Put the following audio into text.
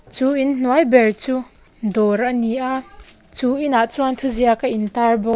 chu inhnuai ber chu dawr a ni a chu inah chuan thuziak a intâr bawk.